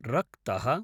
रक्तः